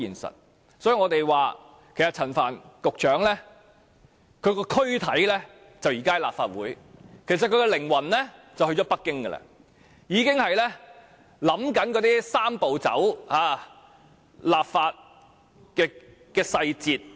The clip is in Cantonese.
所以，我們說，雖然陳帆局長的軀體在立法會，但其靈魂其實已經去了北京，正在思考"三步走"的立法細節。